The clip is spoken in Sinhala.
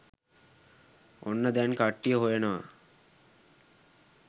ඔන්න දැන් කට්ටිය හොයනවා